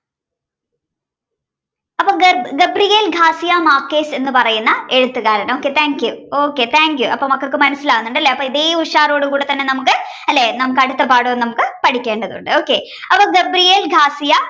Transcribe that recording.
അപ്പോ Gabriel García Márquez എന്ന് പറയുന്ന എഴുത്തുകാരൻ okay thank you, okay thank you അപ്പൊ മക്കൾക്ക് മനസ്സിലാവുന്നുണ്ട് ല്ലെ അപ്പൊ ഇതേ ഉഷാറോടു കൂടെ തന്നെ നമുക്ക് അല്ലേ നമുക്ക് അടുത്ത പാഠവും നമുക്ക് പഠിക്കേണ്ടതുണ്ട്. okay അപ്പൊ Gabriel García